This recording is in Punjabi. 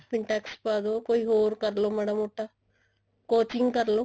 pintex ਪਵਾਦੋ ਕੋਈ ਹੋਰ ਕਰਲੋ ਮਾੜਾ ਮੋਟਾ ਕੋਚਿੰਗ ਕਰਲੋ